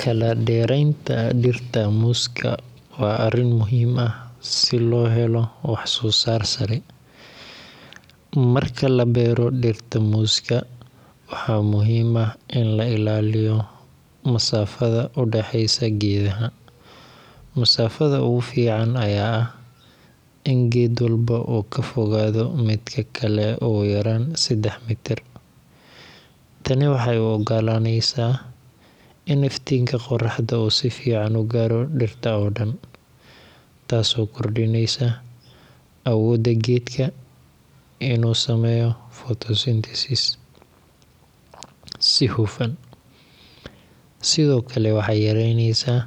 Kala dheeraynta dhirta muuska waa arrin muhiim ah si loo helo wax-soo-saar sare. Marka la beero dhirta muuska, waxaa muhiim ah in la ilaaliyo masaafada u dhaxaysa geedaha. Masaafada ugu fiican ayaa ah in geed walba uu ka fogaado midka kale ugu yaraan 3 mitir. Tani waxay u oggolaanaysaa in iftiinka qoraxda uu si fiican u gaadho dhirta oo dhan, taasoo kordhinaysa awoodda geedka inuu sameeyo photosynthesis si hufan. Sidoo kale, waxay yaraynaysaa